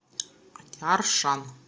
аршан